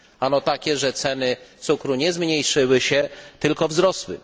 Ano takie, że ceny cukru nie zmniejszyły się, tylko wzrosły.